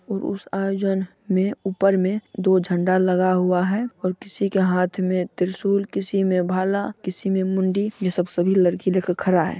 और उस आयोजन मे ऊपर मे दो झण्डा लगा हुआ है और किसी के हाथ मे त्रिशूल किसी मे भाला किसी मे मुंडी ये सब सभी लड़की लेकर खड़ा है।